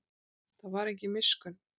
Það var engin miskunn.